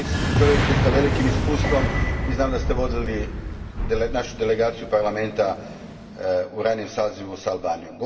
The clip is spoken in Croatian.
Čovjek ste s velikim iskustvom i znam da ste vodili našu delegaciju Parlamenta u ranijem sazivu s Albanijom.